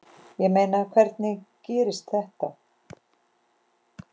Ég meina, hvernig gerðist þetta?